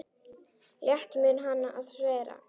Létt mun hann að sverja.